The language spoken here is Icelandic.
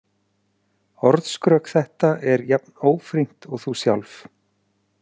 Orðskrök þetta er jafn ófrýnt og þú sjálf.